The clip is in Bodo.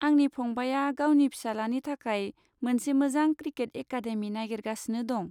आंनि फंबाया गावनि फिसालानि थाखाय मोनसे मोजां क्रिकेट एकाडेमि नागिरगासिनो दं।